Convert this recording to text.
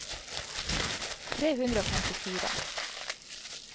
tre hundre og femtifire